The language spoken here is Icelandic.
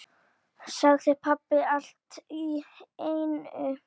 sagði pabbi allt í einu.